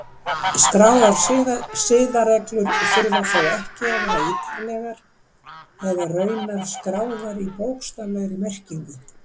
Skráðar siðareglur þurfa þó ekki að vera ítarlegar eða raunar skráðar í bókstaflegri merkingu.